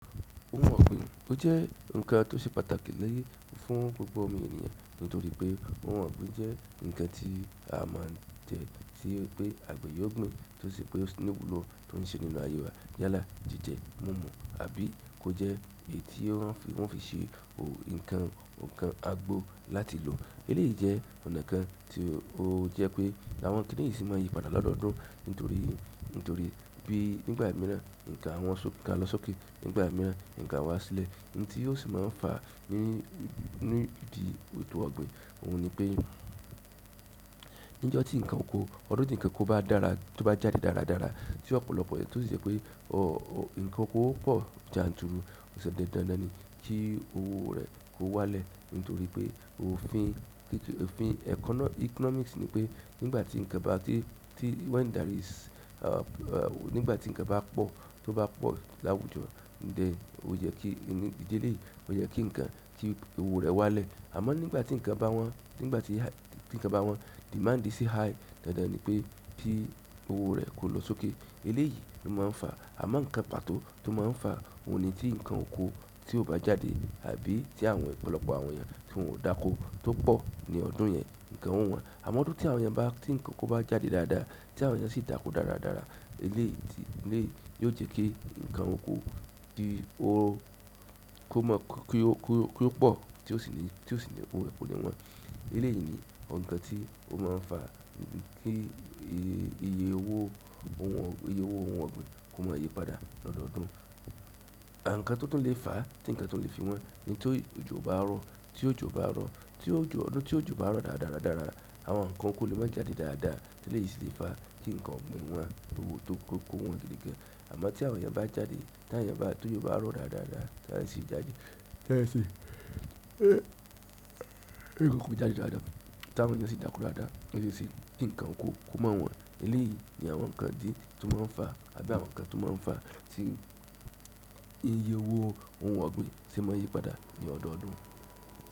Óhun ogbín, ó jẹ́ nǹkan tó ṣe pàtàkì ni fún gbogbo ọmọ ènìyàn nítorí pé ọun ogbín jẹ́ nǹkan tí a máa ń jẹ́ tí pé àgbẹ̀ yóò gbin, tó ṣe pé ó sì níwùlò tó ń ṣe nínú aye wa. Yálà, jíjẹ, mumu, àbí kó jẹ́ èyí tí wọ́n o fi ṣe òun nǹkan, nǹkan àgbo láti lò. Eléyìí jẹ́ ọ̀nà kan tí ó jẹ́ pé àwọn kínì yìí sì máa ń yí padà lọ́dọọdún nítorí, nítorí bíi nígbà mìíràn nǹkan à wọn so-- nǹkan a lọ sókè, nígbà mìíràn nǹkan a wá sílẹ̀. Nn tí ó sì máa ń fa ní, nidi ètò ogbín, òun ni pé níjo tí nǹkan òko, ọdún tí nǹkan kó bá dára, tó bá jáde dáradára, tí ọ̀pọ̀lọpọ̀ rẹ̀ tó si ṣe pé, nǹkan okó pọ̀ janturu, ó ṣe dandan ni kí owó rẹ̀ kó wálẹ̀ nítorí pé òfin kírí òfin ẹkọ́ economics ni pé nígbà tí nǹkan bá tí, tí when there is, nígbà tí nǹkan bá pọ̀, tó bá pọ̀ láwùjọ, then ó yẹ kí ní idí eléyii, ó yẹ kí nǹkan cheap, kí owó rẹ̀ wálẹ̀. Àmọ́ nígbà tí nǹkan bá wọ́n, nígbà tí, tí nǹkan bá wọ́n, demand ṣi high, dandan ni pé ki owó rẹ̀ kó lọ sókè. Eléyìí ló máa ń fa. Àmọ́ nǹkan pàtó tó máa ń fa òun ni tí nǹkan òkó tí ò bá jáde, àbí tí àwọn ọ̀pọ̀lọpọ̀ àwọn eeyan tí wọn ò dákó tó pọ̀ ní ọ̀dun yẹn, nǹkan ò wọ́n. Àmọ́ ọdún tí àwọn eeyan bá, tí nǹkan okó bá jáde dáadáa, tí àwọn eeyan sì dákọ́ dáradára, eléyìí ti, eléyìí yóò jẹ́ kí nǹkan òkó ti ó, kó mọ́, kí ó, kí ó, kí ó pọ̀, tí ó sì ní, tí ó sì ní owó rẹ̀ kó ní wọ́n. Eleyii ni oun kan ti o maa n fa idi ti iye, iye owo oun ogbin, iye owo oun ogbin ko maa yi padà ni odoodun. Àǹkan tó tún le fa, tí nǹkan tun lè fi wọ́n ni ti ojò o bá rọ, tí òjò o bá rọ, tí òjò, ọdún tí òjò o bá rọ dáradáradára, àwọn nǹkan okó lè má jáde dáadáa. Eléyìí ṣi le fá kí nǹkan ògbin wọ́n, to wó tó kó-- kó wọ́n gidi gan. Àmọ́ tí àwọn eeyan bá jáde, tàwọn eeyan bá, tí òjò bá rọ dáradára, t'àwọn eeyan si jáde. Tẹeyan si-- ti nǹkan okó jáde dáadáa, t'àwọn eeyan ṣi dáko dáadáa, ó ṣeéṣe kí nǹkan òkó kó ma wọ́n. Eléyìí ni àwọn nǹkan tí, tó máa ń fa àbí àwọn nǹkan to maa n fa ti iye owo oun ogbin se maa n yi padà ni odoodun.